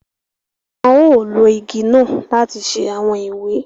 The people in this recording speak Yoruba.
Wọn ò ló ìgi náà láti ṣe awọn ìwé